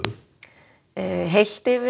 heilt yfir